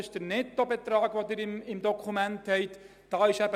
Das ist der Nettobetrag, den wir im Dokument stehen haben.